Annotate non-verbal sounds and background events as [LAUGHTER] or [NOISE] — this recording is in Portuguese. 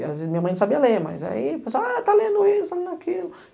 as [UNINTELLIGIBLE] minha mãe não sabia ler, mas aí a pessoa, ah, está lendo isso, está lendo aquilo.